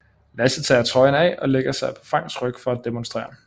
Lasse tager trøjen af og ligger sig på Franks ryg for at demonstrere